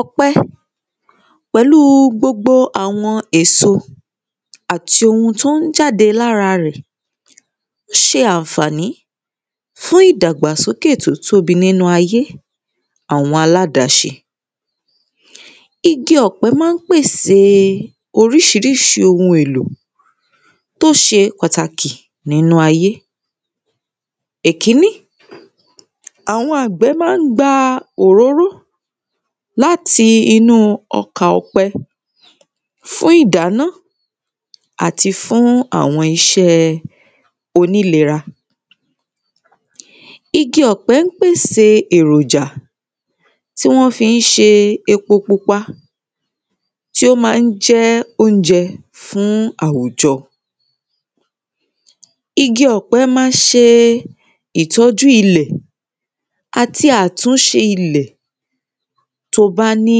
ọ̀pẹ pẹ̀lú gbogbo àwọn èso àti ohun tó ń jáde lára rẹ̀ ṣe ànfàní fún ìdàgbàsókè tó tóbi nínú ayé àwọn aládáṣe igi ọ̀pẹ má ń pèsè oríṣiríṣi ohun èlò tó ṣe pàtàkì nínú ayé èkíní àwọn àgbẹ̀ má ń gba òróró láti inú ọkà ọ̀pẹ fún ìdáná àtí fún àwọn iṣẹ́ onílera igi ọ̀pẹ ń pèsè èròjà tí wọ́n fí ń ṣe epo pupa tí ó má ń jẹ́ oúnjẹ fún àwùjọ igi ọ̀pẹ má ń se ìtọ́jú ilẹ̀ àti àtúnṣe ilẹ̀ tó bá ní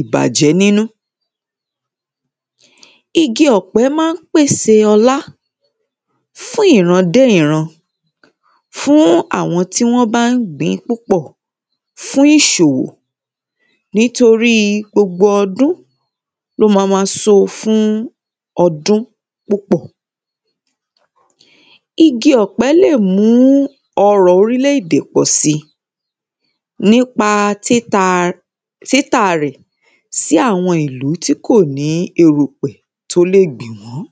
ìbàjẹ́ nínú igi ọ̀pẹ má ń pèsè ọlá fún ìran dé ìran fún àwọn tí wọ́n ba ń gbìń púpọ̀ fún àwọn fún ìsòwò nítorí gbogbo ọdún ló ma ma so fún ọdún púpọ̀ igi ọ̀pẹ lè mú ọrọ̀ orílẹ̀ èdè pọ̀ si nípa títa títà rẹ̀ sí àwọn ìlú ti]kò ní erùpẹ̀ tó lè gbìn wọ́n